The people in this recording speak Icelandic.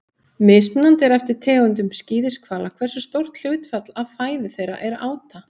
Mismunandi er eftir tegundum skíðishvala hversu stórt hlutfall af fæðu þeirra er áta.